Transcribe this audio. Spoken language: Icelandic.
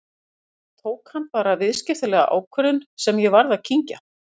Almennt séð tók hann bara viðskiptalega ákvörðun sem ég varð að kyngja.